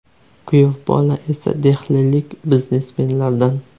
Kuyov bola esa Dehlilik biznesmenlardan.